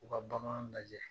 U ka bagan lajɛ